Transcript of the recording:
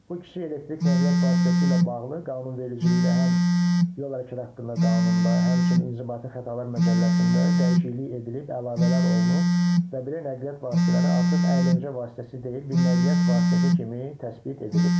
Bu kiçik elektrikli nəqliyyat vasitəsi ilə bağlı qanunvericilikdə həm yol hərəkəti haqqında qanunda, həmçinin inzibati xətalar məcəlləsində dəyişiklik edilib, əlavələr olunub və belə nəqliyyat vasitələri artıq əyləncə vasitəsi deyil, bir nəqliyyat vasitəsi kimi təsbit edilib.